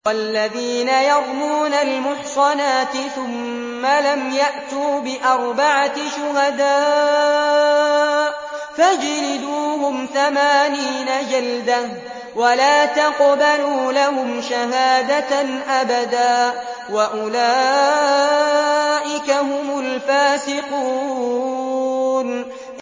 وَالَّذِينَ يَرْمُونَ الْمُحْصَنَاتِ ثُمَّ لَمْ يَأْتُوا بِأَرْبَعَةِ شُهَدَاءَ فَاجْلِدُوهُمْ ثَمَانِينَ جَلْدَةً وَلَا تَقْبَلُوا لَهُمْ شَهَادَةً أَبَدًا ۚ وَأُولَٰئِكَ هُمُ الْفَاسِقُونَ